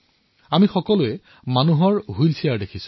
আমি সকলোৱে মানুহৰ হুইলচেয়াৰ দেখিছো